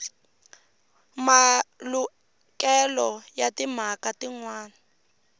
malukelo ya timhaka tin wana